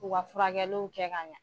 U ka furakɛliw kɛ ka ɲɛ.